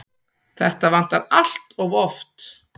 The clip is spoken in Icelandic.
Þetta vantar allt of oft.